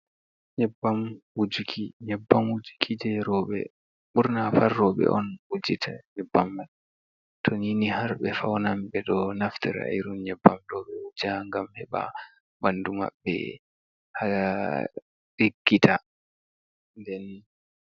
Nyebbam wujuki nyebbam wujuki jei rowɓe. Ɓurna fu rowɓe on wujita nyebbam man. To ninni har ɓe faunan ɓe ɗo naftira irin nyebbam ɗo ɓe wuja ngam heɓa ɓandu maɓɓe ɗelkita nden.